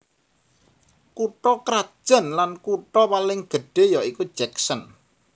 Kutha krajan lan kutha paling gedhé ya iku Jackson